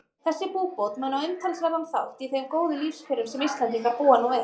Þessi búbót á umtalsverðan þátt í þeim góðu lífskjörum sem Íslendingar búa nú við.